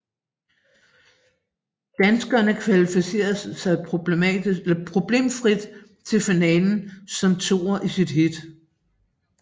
Danskerne kvalificerede sig problemfrit til finalen som toer i sit heat